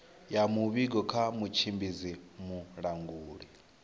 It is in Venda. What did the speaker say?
ya muvhigo kha mutshimbidzi mulanguli